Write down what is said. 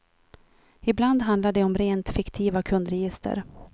Ibland handlar det om rent fiktiva kundregister.